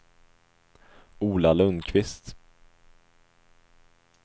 Ola Lundquist